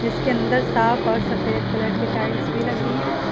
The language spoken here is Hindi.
इसके अंदर साफ और सफेद कलर की टाइल्स भी लगी हैं।